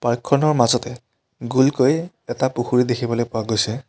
Park খনৰ মাজতে গুলকৈ এটা পুখুৰী দেখিবলৈ পোৱা গৈছে।